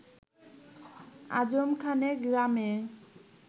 আজম খানের গ্রামের